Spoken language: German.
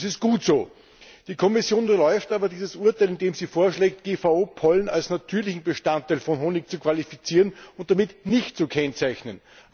Das ist gut so! Die Kommission unterläuft aber dieses Urteil, indem sie vorschlägt, GVO Pollen als natürlichen Bestandteil von Honig zu qualifizieren und damit nicht zu kennzeichnen.